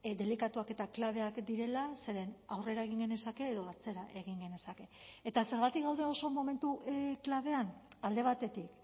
delikatuak eta klabeak direla zeren aurrera egin genezake edo atzera egin genezake eta zergatik gaude oso momentu klabean alde batetik